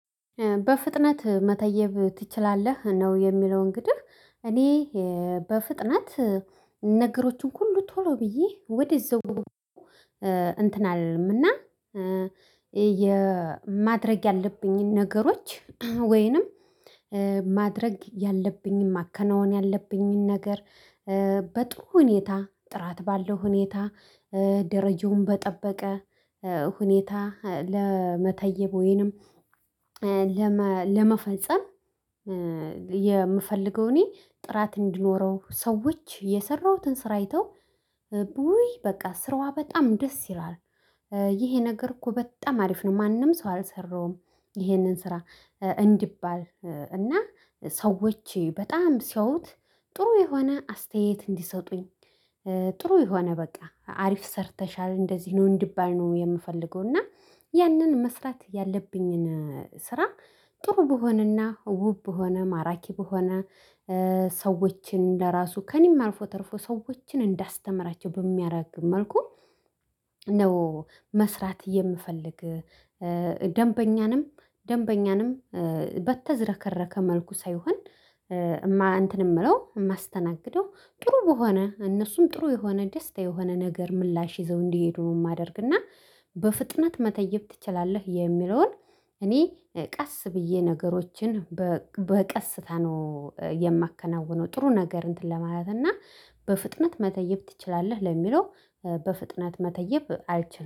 በፍጥነት መተየብ ትችላለህ ነው የሚለው እንግዲህ እኔ በፍጥነት ነገሮቹን ሁሉ ቶሎ ብዬ ወደ ዛው እንትን አልልም። እና ማድረግ ያለብኝን ነገሮች ወይንም ማድረግ ያለብኝን ማከናውን ያለብኝን ነገር። በጥሩ ሁኔታ ጥራት ባለው ሁኔታ ደረጃውን በጠበቀ ሁኔታ ለመተየብ ወይንም ለመፈጸም። የምፈልገው እኔ ጥራት እንዲኖረው ሰዎች የሰራሁትን ስራ አይተው ውይ በቃ ስራዋ በጣም ደስ ይላል። ይሄ ነገር እኮ በጣም አሪፍ ነው። ማንም ሰው አልሰራሁም ይሄንን ስራ እንዲባል እና ሰዎች በጣም ሲያዩት ጥሩ የሆነ አስተያየት እንዲሰጡኝ። ጥሩ የሆነ በቃ አሪፍ ሰርተሻል እንደዚህ ነው እንድባል ነው የምፈልገው። እና ያንን መስራት ያለብኝን ስራ ጥሩ በሆነና ውብ በሆነ ማራኪ በሆነ ሰዎችን ለራሱ ከእኔም አልፎ ተርፎ ሰዎችን እንዳስተምራቸው በሚያደርግ መልኩ ነው መስራት የምፈልግ። ደንበኛንም ደንበኛንም በተዘረከረከ መልኩ ሳይሆን። እንትን እምለው የማስተናግደው ጥሩ በሆነ እነሱም ጥሩ የሆነ ደስታ የሆነ ነገር ምላሽ ይዘው እንዲሄዱ ነው የማደርግና። በፍጥነት መተየብ ትችላለህ የሚለውን እኔ ቀስ ብዬ ነገሮችን በቀስታ ነው የማከናውነው። ጥሩ ነገር እንትን ለማለት እና በፍጥነት መተየብ ትችላለህ ለሚለው በፍጥነት መተየብ አልችልም።